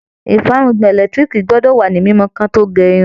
Ìfárùngbọ̀n ẹlẹ́lẹtiriki gbọ́dọ̀ wá ni mímó ki wọn to gérun